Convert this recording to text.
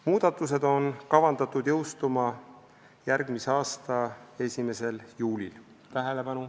Muudatused on kavandatud jõustuma järgmise aasta 1. juulil.